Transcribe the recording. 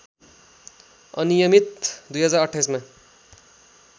अनियमित २०२८ मा